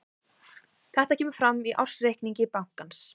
Þetta kemur fram í ársreikningi bankans